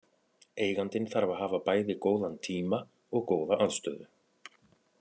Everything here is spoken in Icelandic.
Eigandinn þarf að hafa bæði góðan tíma og góða aðstöðu.